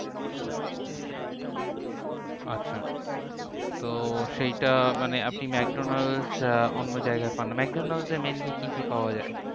আচ্ছা তো সেইটা মানে আপনি ম্যাকডোনালস অন্য জায়গায় পান না? ম্যাকডোনালসে mainly কি কি পাওয়া যায়?